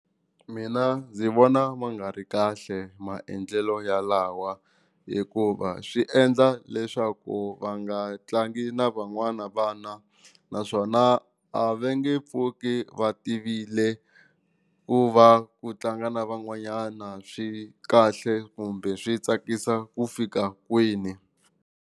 Mina ndzi vona ma nga ri kahle maendlelo yalawa hikuva swi endla leswaku va nga tlangi na van'wana vana naswona a va nge pfuki va tivile ku va ku tlanga na van'wanyana swi kahle kumbe swi tsakisa ku fika kwini.